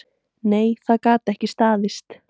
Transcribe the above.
Nei, það gat ekki staðist.